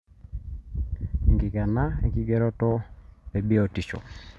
enkikena enkigeroto ebiotishu